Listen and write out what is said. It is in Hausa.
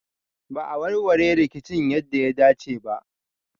Ba a warware rikicin yadda ya dace ba.